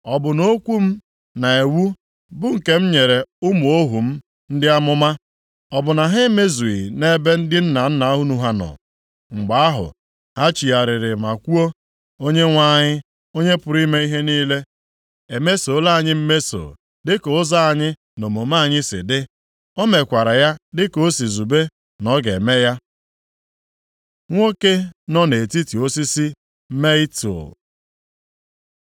Ọ bụ na okwu m na iwu bụ nke m nyere ụmụ ohu m ndị amụma, ọ bụ na ha emezughị nʼebe ndị nna nna unu ha nọ? “Mgbe ahụ, ha chegharịrị ma kwuo, ‘ Onyenwe anyị, Onye pụrụ ime ihe niile, emesola anyị mmeso dịka ụzọ anyị na omume anyị si dị. O mekwara ya dịka o si zube na ọ ga-eme ya.’ ” Nwoke nọ nʼetiti osisi mietul